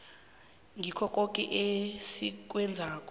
kikho koke esikwenzako